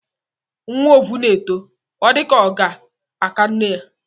Nwa ovu na-eto, ọ dịka ka ọ ga-aka nne ya.